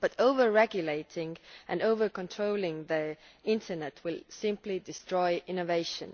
But overregulating and over controlling the Internet will simply destroy innovation.